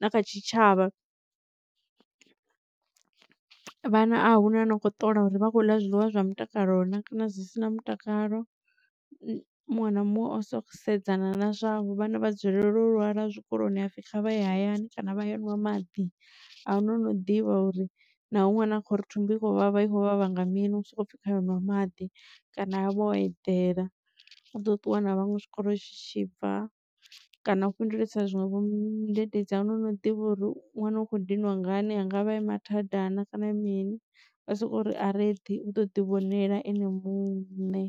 na kha tshitshavha. Vhana ahuna ano kho ṱola uri vha khou ḽa zwiḽiwa zwa mutakalo na kana zwi si na mutakalo muṅwe na muṅwe o soko sedzana na zwavho vhana vha dzulela u lwala zwikoloni hapfi kha vha ye hayani kana vha ye unwa maḓi. Ahuna ano ḓivha uri naho ṅwana khori thumbu i vhavha ikho vhavha nga mini u soko pfhi khae u ṅwa maḓi kana kha vhe o edela u ḓo ṱuwa na vhaṅwe tshikolo tshibva kana u fhindulisa zwinwevho mudededzi ahuna ano ḓivha uri ṅwana u kho dinwa ngani a ngavha e mathadana kana mini vha soko ri areḓi uḓo ḓi vhonela ene muṋe.